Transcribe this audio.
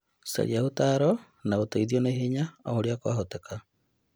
Caria ũtaaro na ũteithio naihenya o ũrĩa kwahoteka